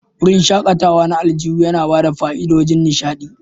Wurin shakatawa na aljihu yana ba da fa'idodin nishaɗi.